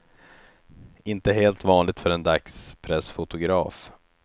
Inte helt vanligt för en dagspressfotograf.